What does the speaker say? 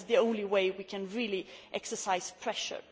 That is the only way we can really exercise pressure.